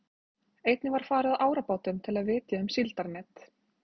Einnig var farið á árabátum til að vitja um síldarnet.